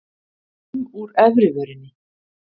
um úr efri vörinni.